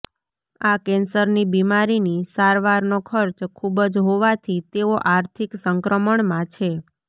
આ કેન્સરની બિમારીની સારવારનો ખર્ચ ખુબ જ હોવાથી તેઓ આર્થિક સંક્ર્મણમાં છે